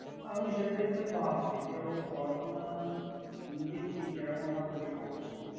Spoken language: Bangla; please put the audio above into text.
আমি সেটাই তো ভাবছি যে ও পড়াশোনা নিজে কি কেরকমভাবে করছে।